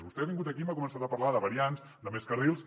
vostè ha vingut aquí i m’ha començat a parlar de variants de més carrils